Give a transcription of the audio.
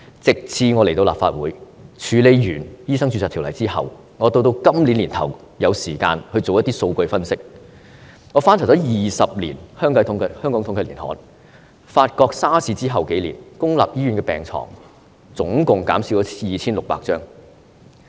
直至我來到立法會，處理完《醫生註冊條例》後，到今年年初，我有時間做一些數據分析，我翻查過去20年香港統計年刊，發覺 SARS 後數年，公立醫院的病床總共減了 2,600 張。